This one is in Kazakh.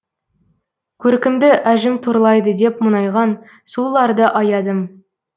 көркімді әжім торлайды деп мұңайған сұлуларды аядым